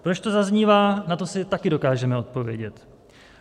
Proč to zaznívá, na to si také dokážeme odpovědět.